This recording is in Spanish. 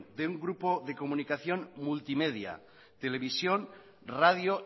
de un grupo de comunicación multimedia televisión radio